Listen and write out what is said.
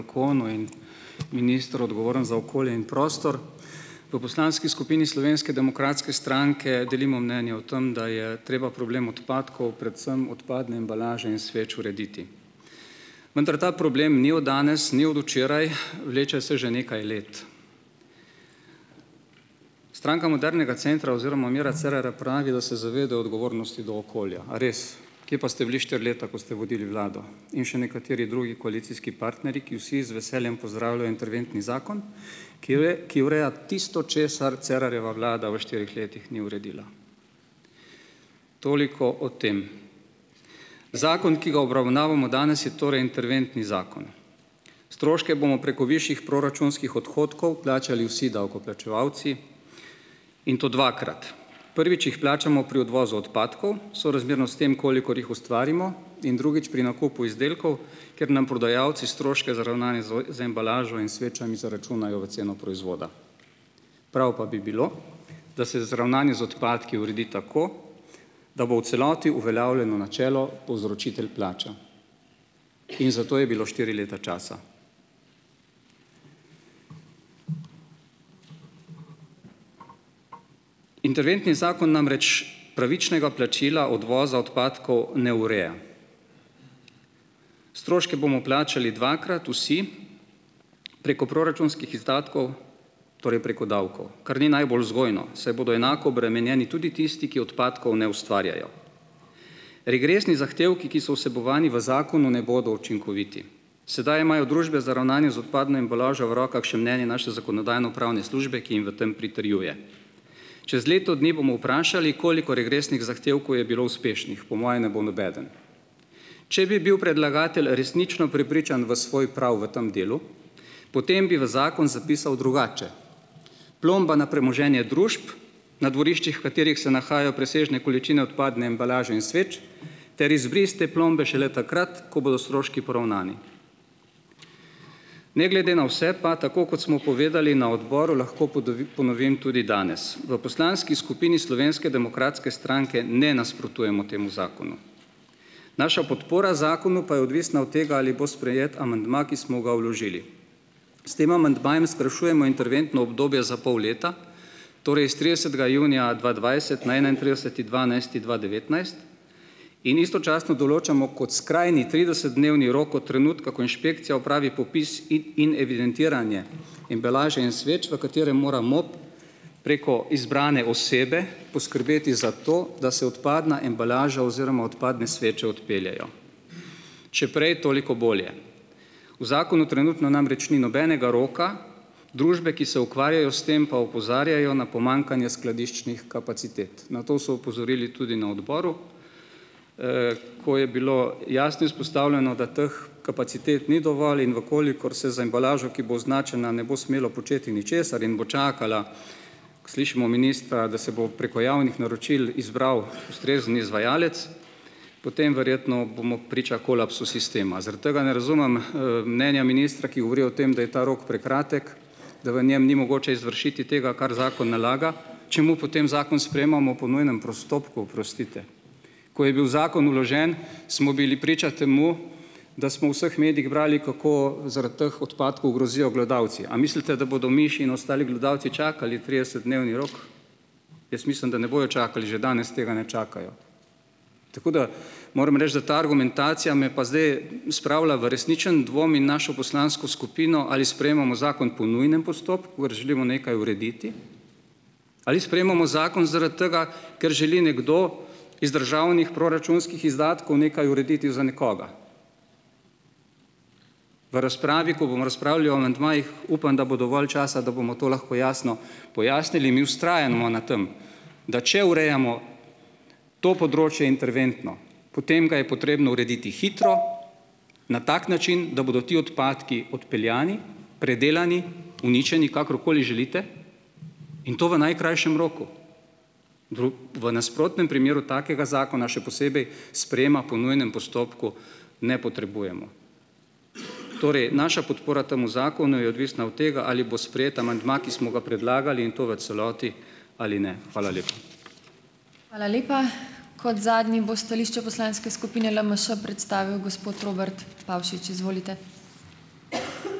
Minister, odgovoren za okolje in prostor! V poslanski skupini Slovenske demokratske stranke delimo mnenje o tem, da je treba problem odpadkov, predvsem odpadne embalaže in sveč, urediti. Vendar ta problem ni od danes, ni od včeraj, vleče se že nekaj let. Stranka modernega centra oziroma Mira Cerarja pravi, da se zavedajo odgovornosti do okolja. A res? Kje pa ste bili štiri leta, ko ste vodili vlado, in še nekateri drugi koalicijski partnerji, ki vsi z veseljem pozdravljajo interventni zakon, ki ki ureja tisto, česar Cerarjeva vlada v štirih letih ni uredila. Toliko o tem. Zakon, ki ga obravnavamo danes, je torej interventni zakon. Stroške bomo preko višjih proračunskih odhodkov plačali vsi davkoplačevalci, in to dvakrat, prvič jih plačamo pri odvozu odpadkov, sorazmerno s tem, kolikor jih ustvarimo, in drugič pri nakupu izdelkov, ker nam prodajalci stroške za ravnanje so z embalažo in svečami zaračunajo v ceno proizvoda. Prav pa bi bilo, da se z ravnanje z odpadki uredi tako, da bo v celoti uveljavljeno načelo povzročitelj plača. In za to je bilo štiri leta časa. Interventni zakon namreč pravičnega plačila odvoza odpadkov ne ureja. Stroške bomo plačali dvakrat vsi preko proračunskih izdatkov, torej preko davkov, kar ni najbolj vzgojno, saj bodo enako obremenjeni tudi tisti, ki odpadkov ne ustvarjajo. Regresni zahtevki, ki so vsebovani v zakonu, ne bodo učinkoviti. Sedaj imajo družbe za ravnanje z odpadno embalažo v rokah še mnenje naše zakonodajno- pravne službe, ki jim v tem pritrjuje. Čez leto dni bomo vprašali, koliko regresnih zahtevku je bilo uspešnih; po moje ne bo nobeden. Če bi bil predlagatelj resnično prepričan v svoj prav v tem delu, potem bi v zakon zapisal drugače: "Plomba na premoženje družb, na dvoriščih, katerih se nahajajo presežne količine odpadne embalaže in sveč, ter izbris te plombe šele takrat, ko bodo stroški poravnani." Ne glede na vse pa tako, kot smo povedali na odboru, lahko ponovim tudi danes: V poslanski skupini Slovenske demokratske stranke ne nasprotujemo temu zakonu, naša podpora zakonu pa je odvisna od tega, ali bo sprejet amandma, ki smo ga vložili. S tem amandmajem skrajšujemo interventno obdobje za pol leta, torej s tridesetega junija dva dvajset na enaintrideseti dvanajsti dva devetnajst, in istočasno določamo kot skrajni tridesetdnevni rok od trenutka, ko inšpekcija opravi popis in evidentiranje embalaže in sveč, v katerem mora MOP preko izbrane osebe poskrbeti za to, da se odpadna embalaža oziroma odpadne sveče odpeljejo; če prej, toliko bolje. V zakonu trenutno namreč ni nobenega roka, družbe, ki se ukvarjajo s tem, pa opozarjajo na pomanjkanje skladiščnih kapacitet. Na to so opozorili tudi na odboru, ko je bilo jasno izpostavljeno, da teh kapacitet ni dovolj, in v kolikor se z embalažo, ki bo označena, ne bo smelo početi ničesar in bo čakala, ko slišimo ministra, da se bo preko javnih naročil izbral ustrezen izvajalec, potem verjetno bomo priča kolapsu sistema. Zaradi tega ne razumem, mnenja ministra, ki govori o tem, da je ta rok prekratek, da v njem ni mogoče izvršiti tega, kar zakon nalaga, čemu potem zakon sprejemamo po nujnem postopku, oprostite. Ko je bil zakon vložen, smo bili priča temu, da smo vseh medijih brali kako zaradi teh odpadkov grozijo glodavci. A mislite, da bodo miši in ostali glodavci čakali tridesetdnevni rok? Jaz mislim, da ne bojo čakali, že danes tega ne čakajo. Tako da moram reči, da ta argumentacija me pa zdaj spravila v resničen dvom in našo poslansko skupino, ali sprejemamo zakon po nujnem postopku, ker želimo nekaj urediti? Ali sprejemamo zakon zaradi tega, ker želi nekdo iz državnih proračunskih izdatkov nekaj urediti za nekoga? V razpravi, ko bom razpravljal o amandmajih, upam, da bo dovolj časa, da bomo to lahko jasno pojasnili. Mi vztrajamo na tam, da če urejamo to področje interventno, potem ga je potrebno urediti hitro, na tak način, da bodo ti odpadki odpeljani, predelani, uničeni, kakorkoli želite, in to v najkrajšem roku. V nasprotnem primeru takega zakona, še posebej sprejema po nujnem postopku, ne potrebujemo. Torej, naša podpora temu zakonu je odvisna od tega, ali bo sprejet amandma, ki smo ga predlagali, in to v celoti, ali ne. Hvala lepa.